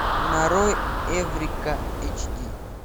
нарой эврика эйч ди